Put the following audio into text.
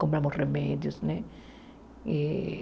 Compramos remédios né e.